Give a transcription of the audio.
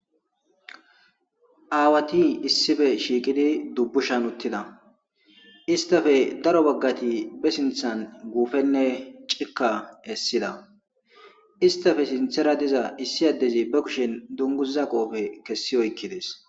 aawati issife shiiqidi dubbushan uttida istafe daro baggati be sinthan guufenne cika essida istafe sinthera diza issi addezi ba kushen dunguza qoofe kessi oykkides